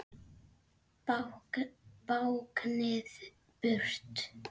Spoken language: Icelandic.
Báknið burt!